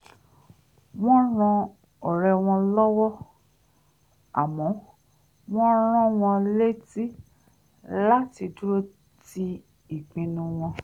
wọ́n ran ọ̀rẹ́ wọn lọ́wọ́ àmọ́ wọ́n rán wọn létí láti dúró ti ìpinnu wọn